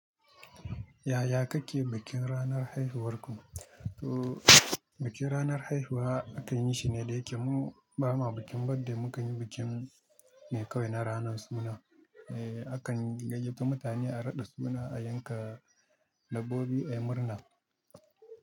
Yaya kake bikin ranar haihuwarku? To bikin ranar haihuwa akan yi shi ne da yake mu ba ma bikin birthday, mu kan yi bikin ne kawai na ranar sunana. Eh, akan gayyace mutane, a raɗa sunana, a yanka dabbobi, a yi murna.